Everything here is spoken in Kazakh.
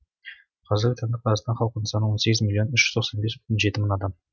қазіргі таңда қазақстан халқының саны он сегіз миллион үш жүз тоқсан бес бүтін жеті мың адам